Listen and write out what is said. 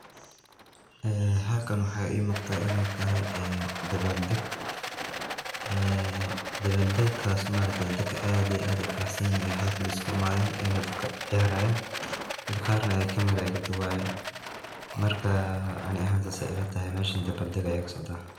Ee halkan waxa ii muqda inay tahay ee dabal deg ee dabal degaas ma aragte dadka aad iyo aad ay u faraxsan yihiin oo ay isku imaaden oy iska ciyaarayan dad qarna ay camera kadubayan, marka aniga ahan sas ayay ila tahay meshan dabal deg aya kasocda